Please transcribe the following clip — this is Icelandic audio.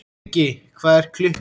Skuggi, hvað er klukkan?